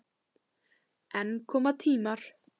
En koma tímar.